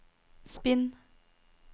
spinn